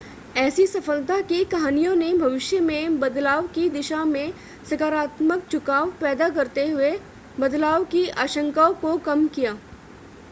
ऐसी सफलता की कहानियों ने भविष्य में बदलाव की दिशा में सकारात्मक झुकाव पैदा करते हुए बदलाव की आशंकाओं को कम किया